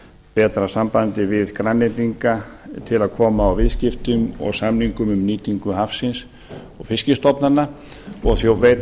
betra sambandi við grænlendinga til að koma á viðskiptum og samningum um nýtingu hafsins og fiskstofnanna og veita